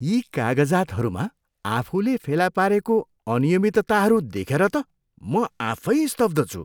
यी कागजातहरूमा आफूले फेला पारेको अनियमितताहरू देखेर त म आफै स्तब्ध छु।